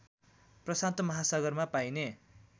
प्रशान्त महासागरमा पाइने